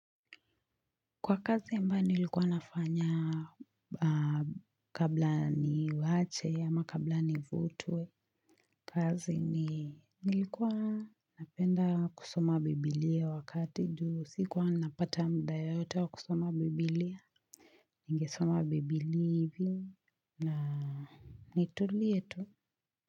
Kwa kazi ambayo nilikuwa nafanya kabla niiwache ama kabla ni vutwe. Kazi ni nilikuwa napenda kusoma biblia wakati juu sikuwa napata muda yoyote wa kusoma biblia. Ningesoma biblia hivi na nitulie tu.